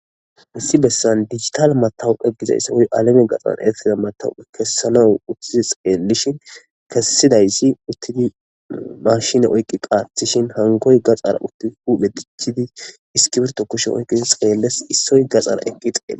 Issi bessan digitale matawoqa woykko alamen gaxan eretanaw kessanaw salo uuttidii xellishin kesidayssi uttidayssa uuttidii maashine oyqiddi qaththishin hankkoy guye gaxara uuttidii huphphe dichchiddi iskirbitto kushshen oyqidii xellishe issoy gaxara eqqidi xelles.